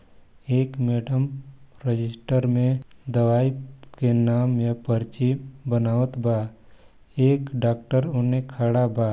एक madam register मे दवाई के नाम या पर्ची बनावत बा एक डाक्टर उनने खड़ा बा।